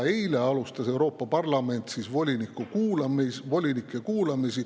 Eile alustas Euroopa Parlament volinike kuulamisi.